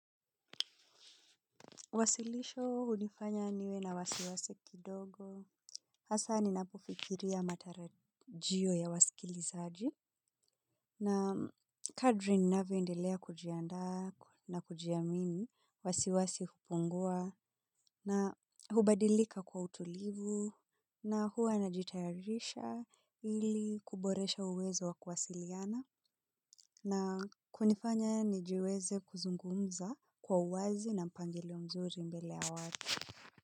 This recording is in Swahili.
Uwasilisho hunifanya niwe na wasiwasi kidogo. Hasa ninapofikiria matarajio ya wasikilizaji. Na kadri ninavyoendelea kujiandaa na kujiamini wasiwasi hupungua. Na hubadilika kwa utulivu. Na hua najitayarisha ili kuboresha uwezo wa kuwasiliana. Na kunifanya nijiweze kuzungumza kwa uwazi na mpangilio mzuri mbele ya watu.